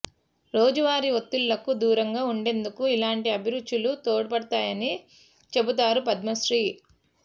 రోజువారీ ఒత్తిళ్లకు దూరంగా ఉండేందుకు ఇలాంటి అభిరుచులు తోడ్పడతాయని చెబుతారు పద్మశ్రీ